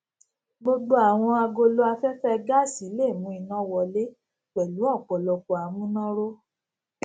gbógbó àwọn agolo aféfé gáàsì lè mú iná wọlé pèlú òpòlọpò àmúnáró